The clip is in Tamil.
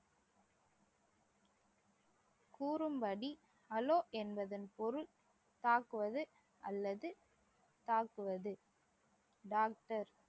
கூறும்படி அலோ என்பதன் பொருள் தாக்குவது அல்லது தாக்குவது டாக்டர்